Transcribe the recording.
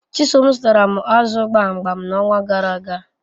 Chisom zutara m azu gbamgbam nxonwa garaaga